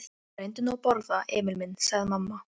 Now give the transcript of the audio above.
Reyndu nú að borða, Emil minn, sagði mamma.